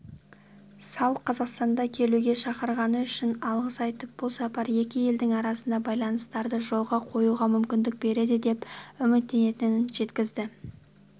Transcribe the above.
салл қазақстанға келуге шақырғаны үшін алғыс айтып бұл сапар екі елдің арасындағы байланыстарды жолға қоюға мүмкіндік береді деп үміттенетінін жеткізді